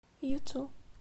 юту